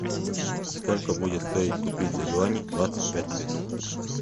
сколько будет стоить купить за юани двадцать пять песо